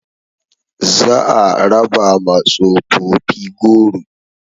Za a raba ma tsofofi goro